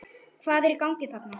Hvað er í gangi þarna?